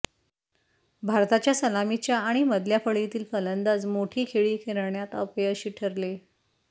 भारताच्या सलामीच्या आणि मधल्या फळीतील फलंदाज मोठी खेळी करण्यात अपयशी ठरले